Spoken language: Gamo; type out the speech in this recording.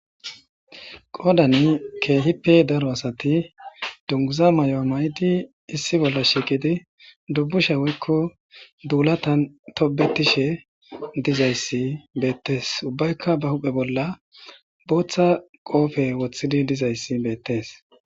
qodan kehipe daro asati duguza mayo mayidi issi bolla shiiqidi dubusha woyko dulatan tobetishe dizaysa betese ubbakka ba huphe bolla botha qofe wothidi dizaysa betese